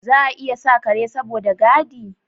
Za a iya sa Kare saboda gadi